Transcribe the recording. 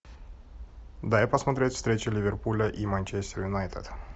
дай посмотреть встречу ливерпуля и манчестер юнайтед